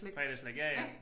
Fredagsslik ja ja